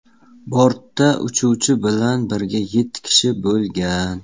Bortda uchuvchi bilan birga yetti kishi bo‘lgan.